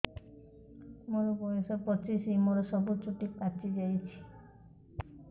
ମୋର ବୟସ ପଚିଶି ମୋର ସବୁ ଚୁଟି ପାଚି ଯାଇଛି